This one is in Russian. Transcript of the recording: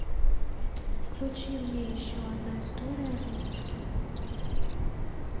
включи мне еще одна история о золушке